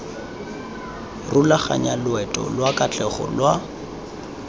rulaganya loeto lwa katlego lwa